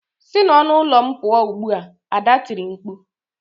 Si n'ọnụ ụlọ m pụọ ugbu a! Ada tiri mkpu.